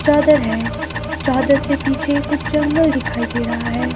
चादर है चादर से पीछे कुछ जंगल दिखाई दे रहा है।